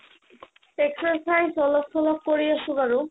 exercise অলপ-চলপ কৰি আছো বাৰু